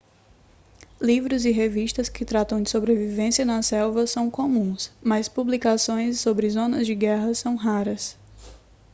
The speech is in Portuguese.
livros e revistas que tratam de sobrevivência na selva são comuns mas publicações sobre zonas de guerra são raras